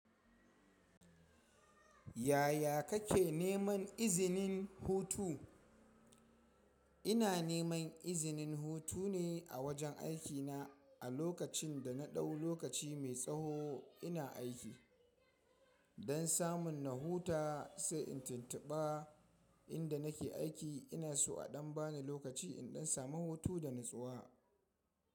Yaya kake neman izinin hutu? Ina neman izinin hutu ne a wajen aikina a lokacin da na ɗau lokaci mai tsaho ina aiki. Don samun na huta sai in tuntuba inda nake aiki ina so a ɗan bani lokaci in ɗan samu hutu da natsuwa.